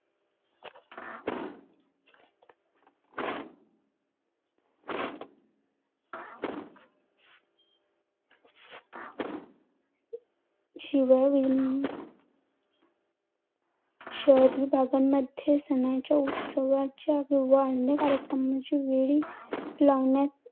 शिवाय शहरीभागांमध्ये सणांच्या, उत्सवाच्या किंवा अन्य कार्यक्रमाच्या वेळी लावण्यात